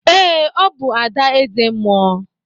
Ee, ọ bụ ada eze mmuo.